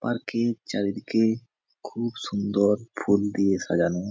Park এর চারিদিকে খুব সুন্দর ফুল দিয়ে সাজানো।